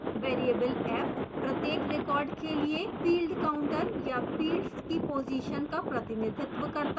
variable f प्रत्येक record के लिए field counter या fields की पोजीशन का प्रतिनिधित्व करता है